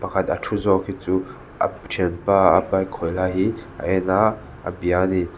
pakhat a thu zawk hi chu a thianpa a bike khawih lai hi a en a a bia a ni.